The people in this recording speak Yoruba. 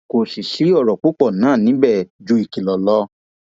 kò sì sí ọrọ púpọ náà níbẹ ju ìkìlọ lọ